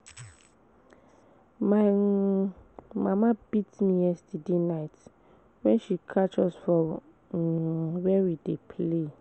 My um mama beat me yesterday night wen she catch us um for where we dey play